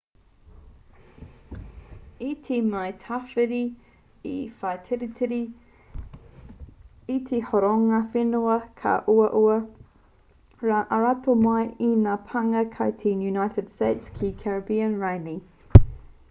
i te mea he tawhiti te whaititiri i te horonga whenua ka uaua rā te aromatawai i ngā pānga ki te united states ki caribbean rānei